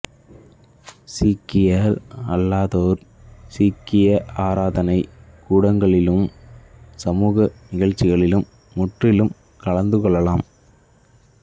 சீக்கியர் அல்லாதோர் சீக்கிய ஆராதனை கூட்டங்களிலும் சமூக நிகழ்ச்சிகளிலும் முற்றிலும் கலந்துகொள்ளலாம்